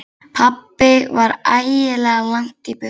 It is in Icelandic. Pabbi var ægilega langt í burtu.